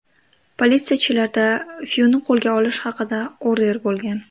Politsiyachilarda Fyuni qo‘lga olish haqida order bo‘lgan.